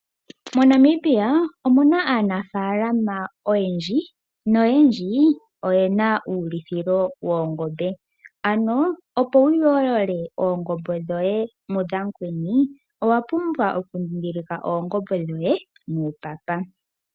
MoNamibia omuna aanafaalama oyendji, noyendji oyena uulithilo woongombe ano opo wuyoolole oongombe dhoye mudhamukweni owapumbwa ookudhidhilika oongombe dhoye nuupapa.